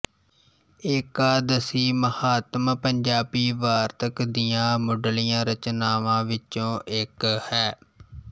ਏਕਾਦਸੀ ਮਹਾਤਮ ਪੰਜਾਬੀ ਵਾਰਤਕ ਦੀਆਂ ਮੁੱਢਲੀਆਂ ਰਚਨਾਵਾਂ ਵਿੱਚੋਂ ਇੱਕ ਹੈ